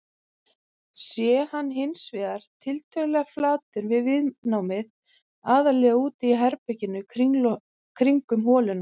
Sé hann hins vegar tiltölulega flatur er viðnámið aðallega úti í berginu kringum holuna.